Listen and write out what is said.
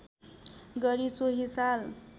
गरी सोही साल